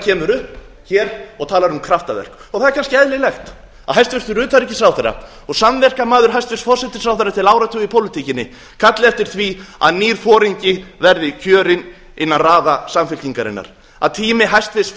kemur upp hér og talar um kraftaverk það er kannski eðlilegt að hæstvirtur utanríkisráðherra og samverkamaður hæstvirtur forsætisráðherra til áratuga í pólitíkinni kalli eftir því að nýr foringi verði kjörinn innan raða samfylkingarinnar að tími hæstvirtur